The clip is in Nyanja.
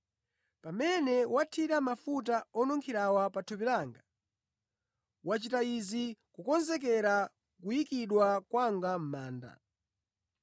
Pamene wathira mafuta onunkhirawa pa thupi langa, wachita izi kukonzekera kuyikidwa kwanga mʼmanda.